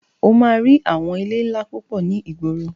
O máa rí àwọn ilé ńlá púpọ̀ ní ìgboro.